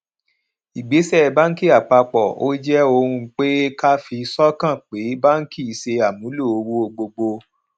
ìgbésẹ bánkì apapọ ó jé ohunpe ká fi sókàn pé banki ṣe àmúlò owó gbogbo